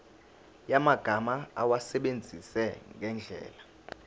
yamagama awasebenzise ngendlela